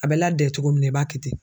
A bɛ ladɛ cogo min na i b'a kɛ ten.